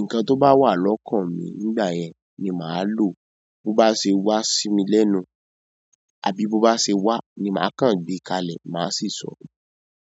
Ǹkan tó bá wà lọ́kàn mi nígbà yẹn ni màá lò. Bo bá ṣe wá sí mi lẹ́nu, àbí bó bá ṣe wá, ni màá kàn gbé kalẹ̀, màá sì ṣọ́.